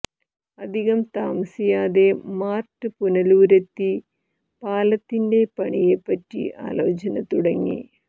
അധികം താമസിയാതെ മാർട്ട് പുനലൂരിലെത്തി പാലത്തിൻറെ പണിയെ പറ്റി ആലോചന തുടങ്ങി